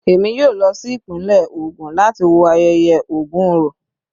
Èmi yóò lọ sí ìpínlẹ̀ ògùn láti wo ayẹyẹ Ògun orò.